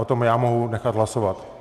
O tom já mohu nechat hlasovat.